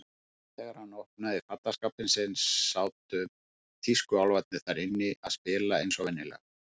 Þegar hann opnaði fataskápinn sinn sátu tískuálfarnir þar inni að spila eins og venjulega.